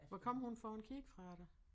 Hvad kom hun for en kirke fra da